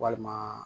Walima